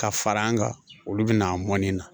Ka fara an kan olu bɛna a mɔnni na